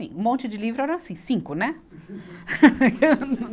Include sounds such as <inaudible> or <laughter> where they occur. Um monte de livro era assim, cinco, né? <laughs>